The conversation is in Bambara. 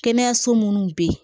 Kɛnɛyaso munnu bɛ yen